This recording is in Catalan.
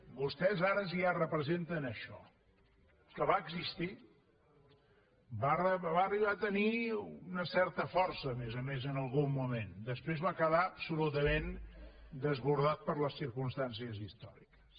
vostès ara ja representen això que va existir va arribar a tenir una certa força a més a més en algun moment després va quedar absolutament desbordat per les circumstàncies històriques